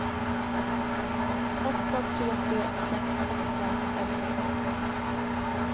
åtta tre tre sex åttiofem femhundratolv